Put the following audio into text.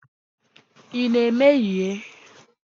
Ị na-emehie?